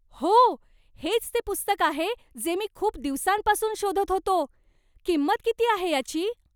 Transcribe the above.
हो! हेच ते पुस्तक आहे जे मी खूप दिवसांपासून शोधत होतो. किंमत किती आहे याची?